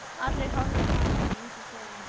Allir horfa á hana en enginn segir neitt.